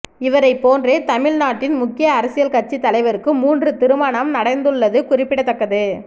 இவரைப் போன்றே தமிழ் நாட்டின் முக்கிய அரசியல் கட்சி தலைவருக்கு மூன்று திருமண நடந்துள்ளது குறிப்பிடத்தக்கது